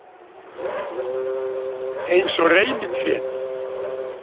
Eins og reynitrén.